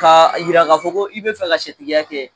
K'a jira k'a fɔ ko i bɛ fɛ ka sɛtigiya kɛ.